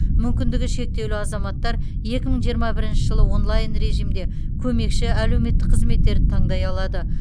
мүмкіндігі шектеулі азаматтар екі мың жиырма бірінші жылы онлайн режимде көмекші әлеуметтік қызметтерді таңдай алады